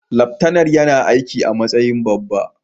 Laftanar yana aiki a matsayin babba.